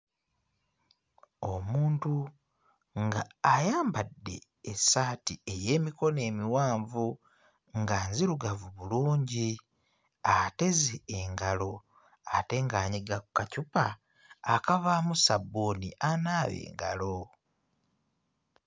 Omuntu ng'ayambadde essaati ey'emikono emiwanvu nga nzirugavu bulungi, ateze engalo ate ng'anyiga ku kacupa akavaamu ssabbuuni anaaba engalo.